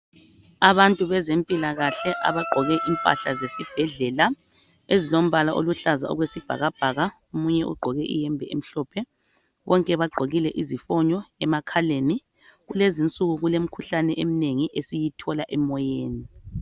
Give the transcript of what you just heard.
Abantu bezempilakahle abagqoke impahla zesibhedlela ezilombala oluhlaza okwesibhakabhaka omunye ugqoke iyembe emhlophe bonke bagqokile izifonyo emakhaleni kelezinsuku kulemikhuhlane eminengi esiyithola emoyeni.